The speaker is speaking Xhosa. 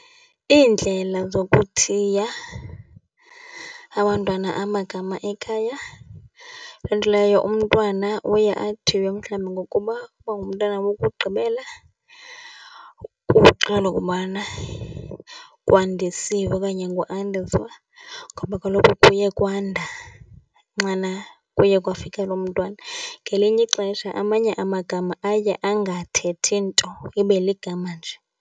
Iindlela zokuthiya abantwana amagama ekhaya. Loo nto leyo umntwana uye athiywe mhlawumbi ngokuba, uba ngumntwana wokugqibela ukubana Kwandisiwe okanye nguAndiswa ngoba kaloku kuyekwanda nxana kuyekwafika loo mntwana. Ngelinye ixesha amanye amagama aye angathethi nto, ibe ligama nje.